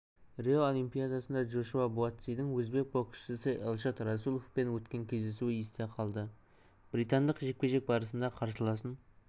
рио олимпиадасында джошуа буатсидің өзбек боксшысы эльшод расуловпен өткен кездесуі есте қалды британдық жекпе-жек барысында қарсыласын